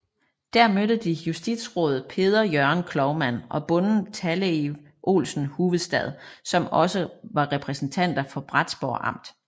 Der mødte de justisråd Peder Jørgen Cloumann og bonden Talleiv Olsen Huvestad som også var repræsentanter for Bratsberg Amt